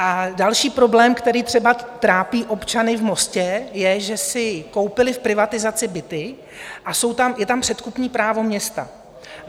A další problém, který třeba trápí občany v Mostě, je, že si koupili v privatizaci byty a je tam předkupní právo města.